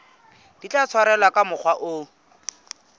tla tshwarwa ka mokgwa o